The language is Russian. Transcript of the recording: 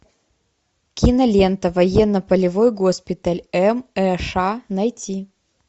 кинолента военно полевой госпиталь мэш найти